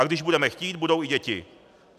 A když budeme chtít, budou i děti.